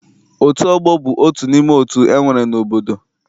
Otu ọgbọ bụ otu n'ime otu e nwere n'obodo.